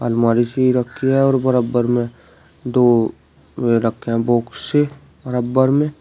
अलमारी सी रखी है और बराबर में दो वे रखे हैं बोक्स से बराबर में।